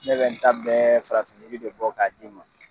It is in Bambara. Ne bɛ n ta bɛɛ farafin de bɔ k'a d'i ma.